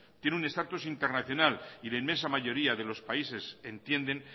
tiene un status internacional y la inmensa mayoría de los países entienden